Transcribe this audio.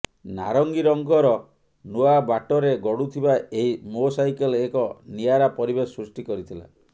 ନାରଙ୍ଗୀ ରଙ୍ଗର ନୂଆ ବାଟରେ ଗଡ଼ୁଥିବା ଏହି ମୋ ସାଇକେଲ୍ ଏକ ନିଆରା ପରିବେଶ ସୃଷ୍ଟି କରିଥିଲା